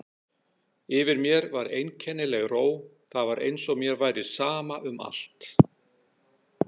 Yfir mér var einkennileg ró, það var eins og mér væri sama um allt.